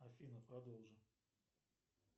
афина продолжи